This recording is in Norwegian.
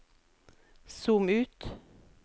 zoom ut